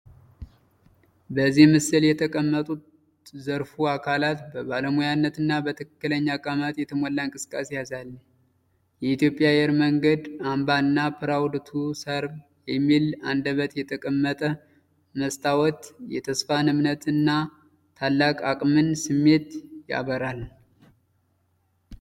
በዚህ ምስል የተቀመጡት ዘርፋ አካላት በባለሙያነት እና በትክክለኛ አቀማመጥ የተሞላ እንቅስቃሴ ያሳያል። የኢትዮጵያ አየር መንገድ አምባ እና “PROUD TO SERVE” የሚል አንደበት የተቀመጠ መስተዋት የተስፋን፣ የእምነትን እና የታላቅ አቅምን ስሜት ያበራል።